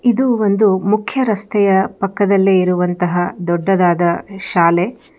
ಇದು ಒಂದು ಮುಖ್ಯರಸ್ತೆಯ ಪಕ್ಕದಲ್ಲಿ ಇರುವಂತಹ ದೊಡ್ಡದಾದ ಶಾಲೆ.